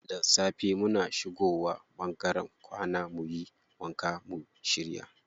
Da safe muna shigo wa ɓangaren kwana muyi wanka mu shirya.